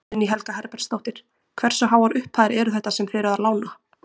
Guðný Helga Herbertsdóttir: Hversu háar upphæðir eru þetta sem þið eruð að lána?